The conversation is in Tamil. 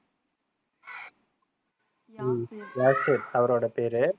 யாசர் அவருடைய பேரு